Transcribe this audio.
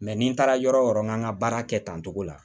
ni n taara yɔrɔ o yɔrɔ n ka baara kɛ tan togo la